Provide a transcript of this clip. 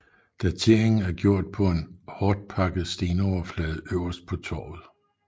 Dateringen er gjort på en hårdtpakket stenoverflade øverst på torvet